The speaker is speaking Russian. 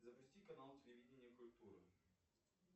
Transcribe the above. запусти канал телевидение и культура